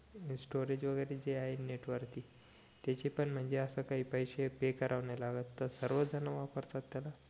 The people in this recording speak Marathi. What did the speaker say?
स्टोरी वैगरे जे आहे नेट वरती त्याचे पण म्हणजे असं काही पैसे पे करावे नाही लागत सर्व जण वापरतात त्याला